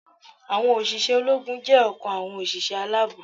Àwọn òṣìṣẹ́ ológun jé ọ̀kan àwọn òṣìṣẹ́ aláàbò